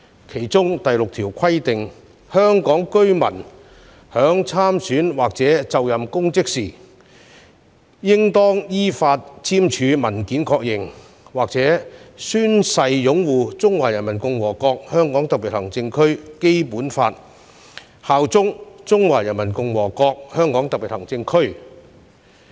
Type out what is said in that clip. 當中第六條規定，"香港特別行政區居民在參選或者就任公職時應當依法簽署文件確認或者宣誓擁護中華人民共和國香港特別行政區基本法，效忠中華人民共和國香港特別行政區"。